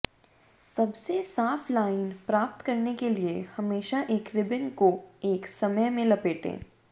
सबसे साफ लाइन प्राप्त करने के लिए हमेशा एक रिबन को एक समय में लपेटें